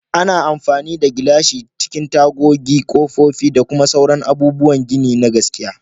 Ana amfani da gilashi a cikin tagogi, kofofi, da sauran abubuwan gini na gaskiya.